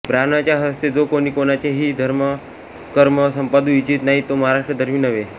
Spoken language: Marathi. ब्राह्मणाच्या हस्ते जो कोणी कोणचे हि धर्मकर्म संपादू इच्छीत नाही तो महाराष्ट्रधर्मी नव्हे